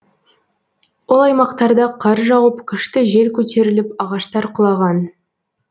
ол аймақтарда қар жауып күшті жел көтеріліп ағаштар құлаған